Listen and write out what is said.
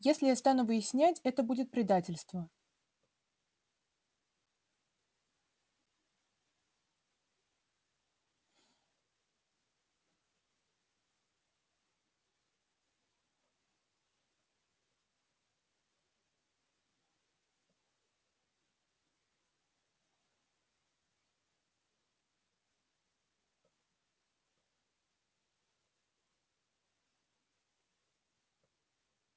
если я стану выяснять это будет предательство